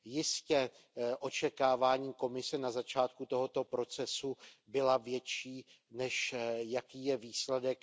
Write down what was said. Jistě, očekávání Komise na začátku tohoto procesu byla větší, než jaký je výsledek.